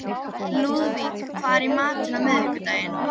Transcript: Lúðvík, hvað er í matinn á miðvikudaginn?